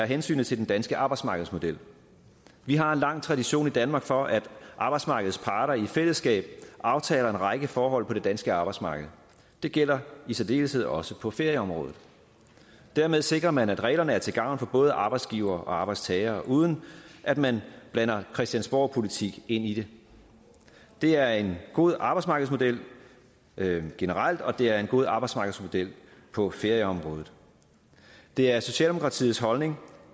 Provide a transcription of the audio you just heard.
hensynet til den danske arbejdsmarkedsmodel vi har en lang tradition i danmark for at arbejdsmarkedets parter i fællesskab aftaler en række forhold på det danske arbejdsmarked det gælder i særdeleshed også på ferieområdet dermed sikrer man at reglerne er til gavn for både arbejdsgivere og arbejdstagere uden at man blander christiansborgpolitik ind i det det er en god arbejdsmarkedsmodel generelt og det er en god arbejdsmarkedsmodel på ferieområdet det er socialdemokratiets holdning